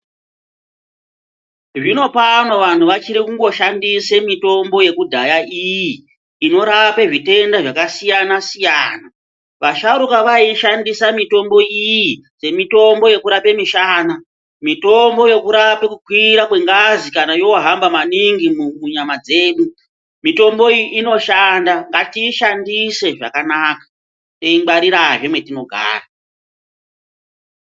Zvinopamwe vanhu vachiri kungo shandise mutombo yekudhaya iyi inorape zvitenda zvakasiyana siyana, vasharukwa vaishandisa mitombo iyi semitombo yekurape mishana, mitombo yekurape kukwira kwengazi kana yohamba maningi munyama dzedu mitombo iyi inoshanda ngatiyishandise zvakanaka toingwarirazve mwetinogara.